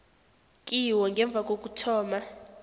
kiwo ngemva kokuthoma